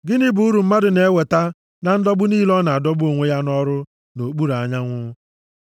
Gịnị bụ uru mmadụ na-enweta na ndọgbu niile ọ na-adọgbu onwe ya nʼọrụ nʼokpuru anyanwụ?